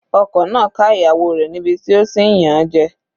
Ọkọ náà ká ìyàwó rẹ̀ níbi tí ó ti ń yàn an jẹ.